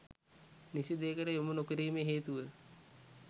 නිසි දෙයකට යොමු නොකිරීමේ හේතුව